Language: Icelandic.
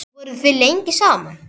Voruð þið lengi saman?